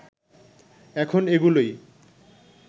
এখন এগুলোই